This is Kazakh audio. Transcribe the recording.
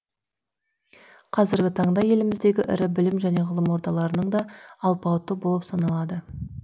қазіргі таңда еліміздегі ірі білім және ғылым ордаларының да алпауыты болып саналады